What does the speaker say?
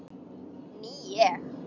Ný ég.